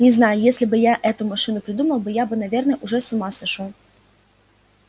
не знаю если бы я эту машину придумал я бы наверное уже с ума сошёл